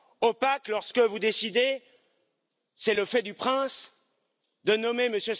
Opaque, lorsque vous décidez, c'est le fait du prince, de nommer M.